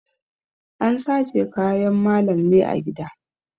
An sace kayan malam ne a gida.